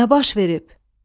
Nə baş verib?